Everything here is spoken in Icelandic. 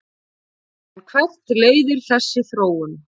En hvert leiðir þessi þróun?